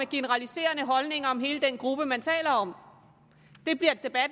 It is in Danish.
generaliserende holdninger om hele den gruppe man taler om